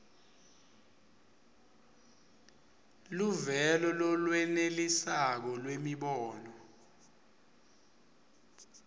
luvelo lolwenelisako lwemibono